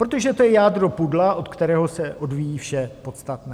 Protože to je jádro pudla, od kterého se odvíjí vše podstatné.